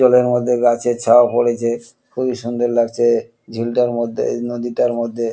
জলের মধ্যে গাছের ছাওয়া পরেছে স খুবই সুন্দর লাগছে ঝিলটার মধ্যে নদীটার মধ্যে ।